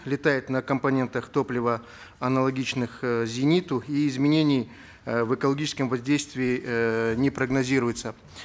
летает на компонентах топлива аналогичных э зениту и изменений э в экологическом воздействии эээ не прогнозируется